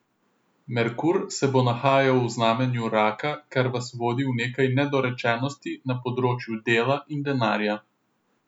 Merkur se bo nahajal v znamenju raka, kar vas vodi v nekaj nedorečenosti na področju dela in denarja.